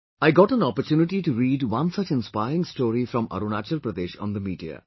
I got an opportunity to read one such inspiring story from Arunachal Pradesh on the media